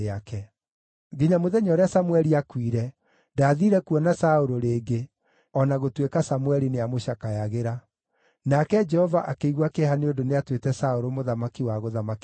Nginya mũthenya ũrĩa Samũeli aakuire, ndaathiire kuona Saũlũ rĩngĩ, o na gũtuĩka Samũeli nĩamũcakayagĩra. Nake Jehova akĩigua kĩeha nĩ ũndũ nĩatuĩte Saũlũ mũthamaki wa gũthamakĩra Isiraeli.